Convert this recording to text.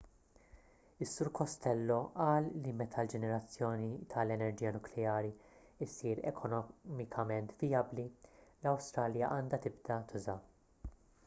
is-sur costello qal li meta l-ġenerazzjoni tal-enerġija nukleari ssir ekonomikament vijabbli l-awstralja għandha tibda tużaha